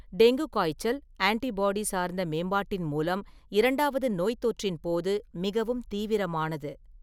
Dengue காய்ச்சல் antibody சார்ந்த மேம்பாட்டின் மூலம் இரண்டாவது நோய்த்தொற்றின் போது மிகவும் தீவிரமானது.